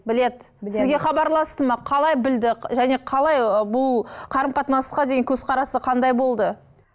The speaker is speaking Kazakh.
біледі сізге хабарласты ма қалай білді және қалай ы бұл қарым қатынасқа деген көзқарасы қандай болды